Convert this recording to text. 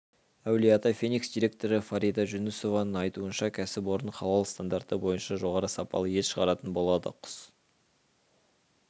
әулие-ата феникс директоры фарида жүнісованың айтуынша кәсіпорын халал стандарты бойынша жоғары сапалы ет шығаратын болады құс